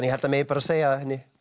að það megi bara segja að henni